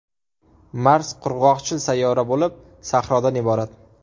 Mars qurg‘oqchil sayyora bo‘lib, sahrodan iborat.